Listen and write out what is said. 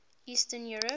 eastern europe